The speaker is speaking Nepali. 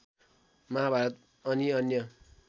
महाभारत अनि अन्य